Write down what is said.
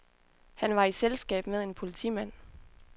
Han var i selskab med en politimand.